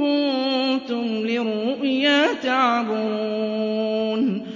كُنتُمْ لِلرُّؤْيَا تَعْبُرُونَ